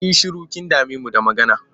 Yi shiru! Kin dame mu da magana.